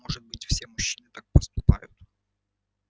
может быть все мужчины так поступают